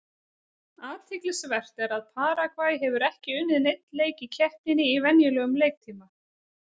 Athyglisvert er að Paragvæ hefur ekki unnið neinn leik í keppninni í venjulegum leiktíma.